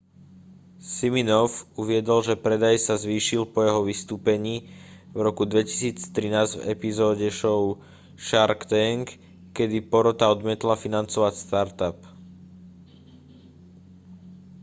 siminoff uviedol že predaj sa zvýšil po jeho vystúpení v roku 2013 v epizóde šou shark tank kedy porota odmietla financovať startup